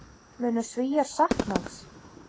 Munu Svíar sakna hans?